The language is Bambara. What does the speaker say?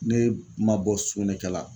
Ne ma bɔ sugunɛkɛla